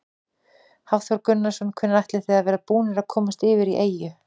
Hafþór Gunnarsson: Hvenær áætlið þið að þið verðið búnir að komast yfir í eyju?